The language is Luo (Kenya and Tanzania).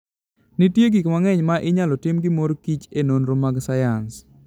Nitie gik mang'eny ma inyalo tim gi mor kich e nonro mag sayans.